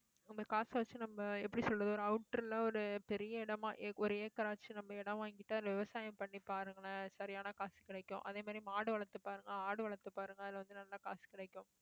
அந்த காசை வச்சு, நம்ம எப்படி சொல்றது ஒரு outer ல ஒரு பெரிய இடமா, ஒரு acre ஆச்சு நம்ம இடம் வாங்கிட்டா விவசாயம் பண்ணி பாருங்களேன். சரியான காசு கிடைக்கும் அதே மாதிரி, மாடு வளர்த்து பாருங்க, ஆடு வளர்த்து பாருங்க. அதுல வந்து, நல்ல காசு கிடைக்கும்.